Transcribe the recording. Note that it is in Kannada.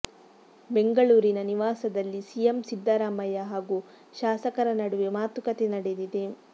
ಬೆಂಗಳೂರಿನ ನಿವಾಸದಲ್ಲಿ ಸಿಎಂ ಸಿದ್ದರಾಮಯ್ಯ ಹಾಗೂ ಶಾಸಕರ ನಡುವೆ ಮಾತುಕತೆ ನಡೆದಿದೆ